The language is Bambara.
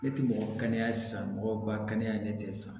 Ne tɛ mɔgɔ kɛnɛya sago ba kɛnɛya ne tɛ sa